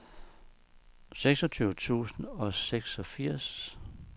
seksogtyve tusind og seksogfirs